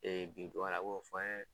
bi ye.